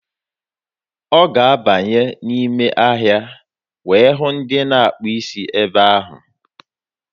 Ọ ga-abanye n'ime ahịa wee hụ ndị na-akpa isi ebe ahụ.